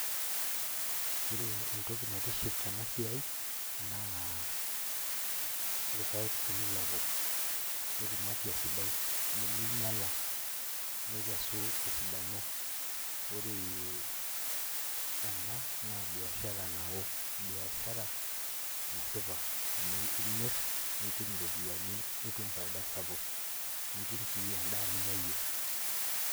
Ore entoki naitiship tenasiai, naa irpaek tenilepu, netum afya sidai, niminyala. Nikesu tesidano. Ore ena, naa biashara nao. Biashara nasipa, amu imir, nitum iropiyiani nitum faida sapuk, nitum si endaa ninya yie.